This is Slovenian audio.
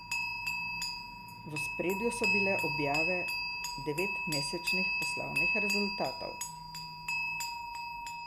V ospredju so bile objave devetmesečnih poslovnih rezultatov.